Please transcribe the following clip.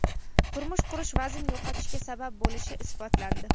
Turmush qurish vazn yo‘qotishga sabab bo‘lishi isbotlandi.